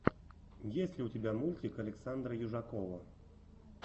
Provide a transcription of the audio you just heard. есть ли у тебя мультик александра южакова